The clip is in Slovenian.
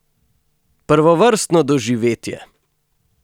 Prvovrstno doživetje!